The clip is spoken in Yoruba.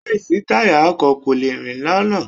Láì sí táyà, ọkọ̀ kò lè rìn lọ́nà.